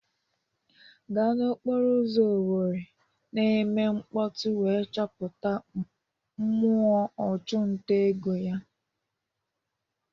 Gaa n'okporo ụzọ Owerri na-eme mkpọtụ wee chọpụta mmụọ ọchụnta ego ya.